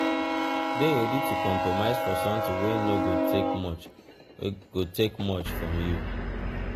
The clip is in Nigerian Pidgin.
de ready to compromise for something wey no go take much go take much from you